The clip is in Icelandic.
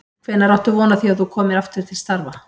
Hvenær áttu von á því að þú komir aftur til starfa?